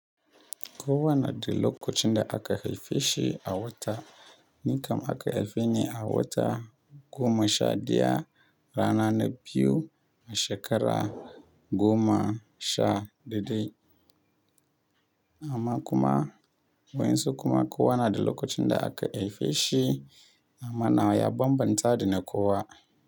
Kowa na da lokacin da aka haife shi a wata, ni kam aka haife ni a wata goma sha ɗaya, rana na biyu a shekara goma sha dai dai. Amma kuma wayansu kuma kowa na da lokacin da aka haife shi, amma nawa ya banbanta da na kowa.